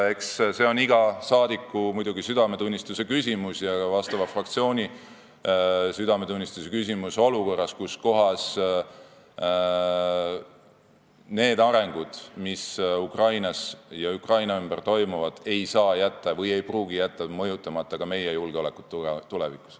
Eks see ole muidugi iga saadiku südametunnistuse küsimus ja ka fraktsiooni südametunnistuse küsimus olukorras, kus need arengud, mis Ukrainas ja Ukraina ümber toimuvad, ei saa või ei pruugi jätta mõjutamata ka meie julgeolekut tulevikus.